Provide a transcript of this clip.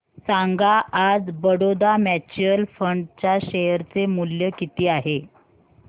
सांगा आज Baroda mutual fund च्या शेअर चे मूल्य किती आहे